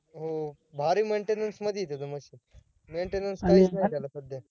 हो भारी maintenance मध्ये येत ते machine maintenance काहीच नाहीय त्याला सध्या